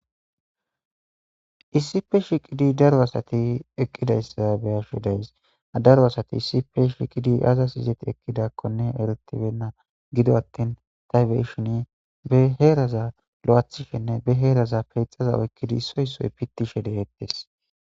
issi pe shiqidi daro asati eqqidayssa beyasho days daro asati issipe shiqidi aza sizeti ekkidakkone eretibenna gido attin taybeshini be heeraza lo7aathishenne be heeraza peyxaza oykkidi soysoy pittishe de7eettes